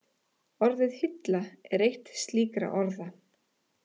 Orðið hilla er eitt slíkra orða.